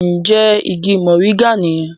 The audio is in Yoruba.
Njé ìgi Moringa niyen?